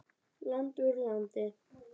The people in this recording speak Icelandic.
Land úr landi.